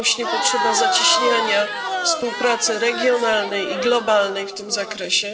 Rośnie potrzeba zacieśniania współpracy regionalnej i globalnej w tym zakresie.